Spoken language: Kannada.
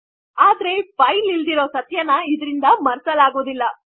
ಆದರೆ ಫೈಲ್ ಇಲ್ಲದಿರುವ ಸತ್ಯವನ್ನು ಇದರಿಂದ ಮರೆಸಲಾಗುವುದಿಲ್ಲ